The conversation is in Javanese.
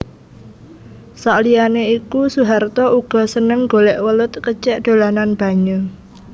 Saliyané iku Soeharto uga seneng golèk welut kecèk dolanan banyu